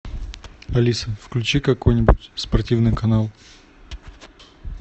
алиса включи какой нибудь спортивный канал